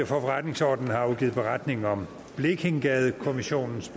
forretningsordenen har afgivet beretning om blekingegade kommissionens